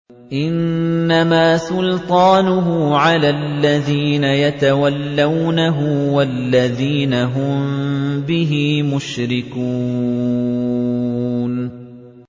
إِنَّمَا سُلْطَانُهُ عَلَى الَّذِينَ يَتَوَلَّوْنَهُ وَالَّذِينَ هُم بِهِ مُشْرِكُونَ